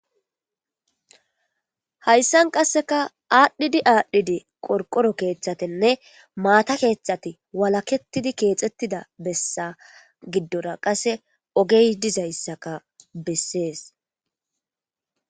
hayssan qasseka aadhdhidi aadhdhidi qorqoro keeththatenne maata keeththate walakettidi keexettida bessa giddora qase ogey dizayssaka bessees